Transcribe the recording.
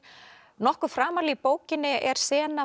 nokkuð framarlega í bókinni er sena